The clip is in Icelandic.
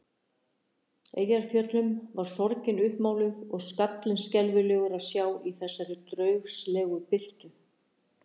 Eyjafjöllum var sorgin uppmáluð og skallinn skelfilegur að sjá í þessari draugslegu birtu.